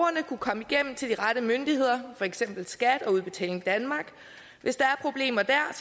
kunne komme igennem til de rette myndigheder for eksempel skat og udbetaling danmark hvis der er problemer dér